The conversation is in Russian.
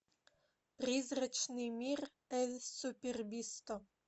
призрачный мир эль супербисто